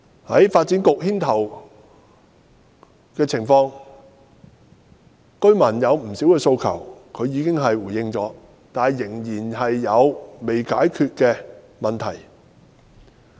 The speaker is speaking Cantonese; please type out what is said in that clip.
在發展局牽頭下，居民不少的訴求當局已回應，但仍然有未解決的問題。